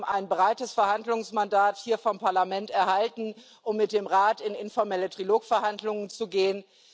Wir haben ein breites Verhandlungsmandat vom Parlament erhalten, um mit dem Rat in informelle Trilog Verhandlungen zu gehen.